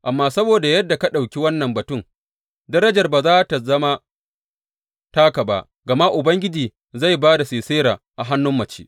Amma saboda yadda ka ɗauki wannan batun, darajar ba za tă zama taka ba, gama Ubangiji zai ba da Sisera a hannun mace.